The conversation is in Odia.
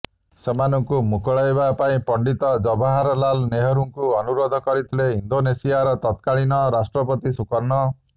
ସେମାନଙ୍କୁ ମୁକୁଳାଇବା ପାଇଁ ପଣ୍ଡିତ ଜବାହରଲାଲ ନେହରୁଙ୍କୁ ଅନୁରୋଧ କରିଥିଲେ ଇଣ୍ଡୋନେସିଆର ତକ୍ରାଳୀନ ରାଷ୍ଟ୍ରପତି ସୁକର୍ଣ୍ଣୋ